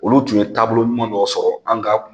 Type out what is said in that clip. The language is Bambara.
Olu tun ye taabolo ɲuman dɔ sɔrɔ an ka